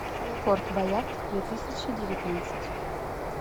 форт боярд две тысячи девятнадцать